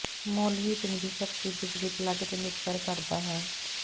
ਮੁੱਲ ਹੀਟਿੰਗ ਦੀ ਸ਼ਕਤੀ ਬਿਜਲੀ ਪਲੱਗ ਤੇ ਨਿਰਭਰ ਕਰਦਾ ਹੈ